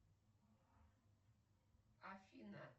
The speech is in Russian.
афина